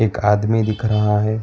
एक आदमी दिख रहा है।